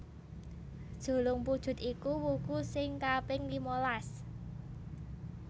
Julungpujut iku wuku sing kaping limalas